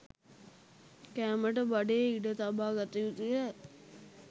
කෑමට බඩේ ඉඩ තබා ගත යුතුය.